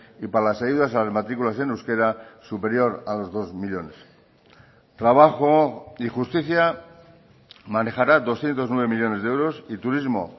y para las ayudas a las matriculas en euskera superior a los dos millónes trabajo y justicia manejará doscientos nueve millónes de euros y turismo